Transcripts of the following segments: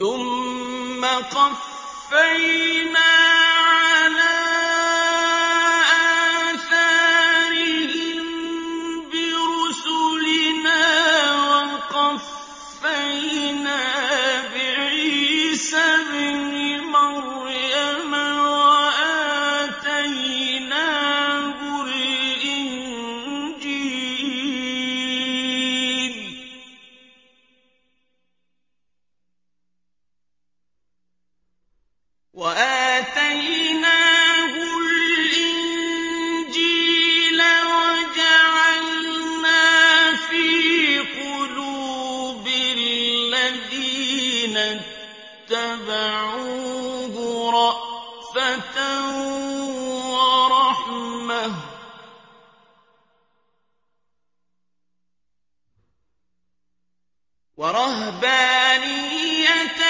ثُمَّ قَفَّيْنَا عَلَىٰ آثَارِهِم بِرُسُلِنَا وَقَفَّيْنَا بِعِيسَى ابْنِ مَرْيَمَ وَآتَيْنَاهُ الْإِنجِيلَ وَجَعَلْنَا فِي قُلُوبِ الَّذِينَ اتَّبَعُوهُ رَأْفَةً وَرَحْمَةً وَرَهْبَانِيَّةً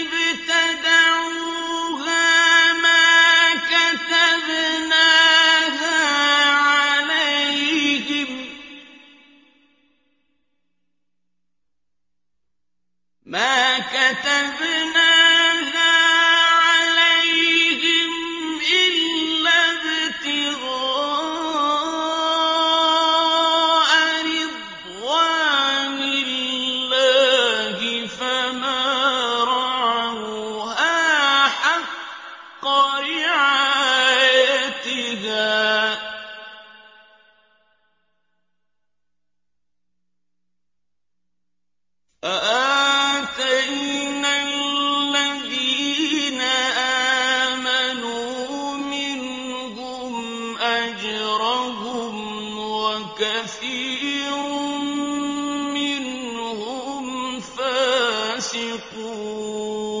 ابْتَدَعُوهَا مَا كَتَبْنَاهَا عَلَيْهِمْ إِلَّا ابْتِغَاءَ رِضْوَانِ اللَّهِ فَمَا رَعَوْهَا حَقَّ رِعَايَتِهَا ۖ فَآتَيْنَا الَّذِينَ آمَنُوا مِنْهُمْ أَجْرَهُمْ ۖ وَكَثِيرٌ مِّنْهُمْ فَاسِقُونَ